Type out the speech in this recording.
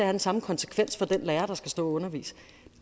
den samme konsekvens for den lærer der skal stå og undervise